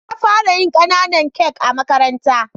Na fara yin kananan kak a makaranta.